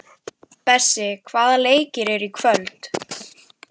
Bessi, hvaða leikir eru í kvöld?